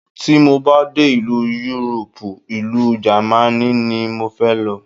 Tí mo bá dé ìlú Yúróòpù, ìlú Jámánì ni mo fẹ́ lọ.